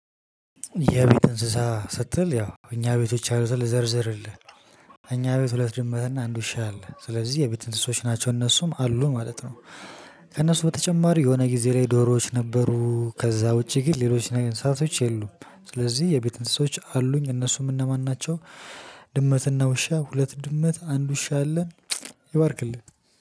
የቤት እንስሳ ስትል ያው እኛ ቤቶች ያሉትን ልዘርዝርልህ። እኛ ቤት ሁለት ድመትና አንድ ውሻ አለ ስለዚህ የቤት እንስሶች ናቸው እነሱም አሉ ማለት ነው። ከእነሱ በተጨማሪ የሆነ ጊዜ ላይ ዶሮዎች ነበሩ ከዛ ውጪ ግን ሌሎች እንስሳቶች የሉም። ስለዚህ የቤት እንስሳዎች አሉኝ እነሱም እነማን ናቸው? ድመትና ውሻ ሁለት ድመት አንድ ውሻ አለን። ይባርክልኝ